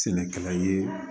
Sɛnɛkɛla ye